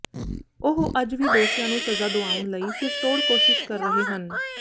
ਉਹ ਅੱਜ ਵੀ ਦੋਸ਼ੀਆਂ ਨੂੰ ਸਜ਼ਾ ਦਿਵਾਉਣ ਲਈ ਸਿਰਤੋੜ ਕੋਸ਼ਿਸ਼ ਕਰ ਰਹੇ ਹਨ